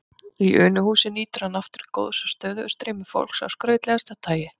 Í Unuhúsi nýtur hann aftur góðs af stöðugu streymi fólks af skrautlegasta tagi.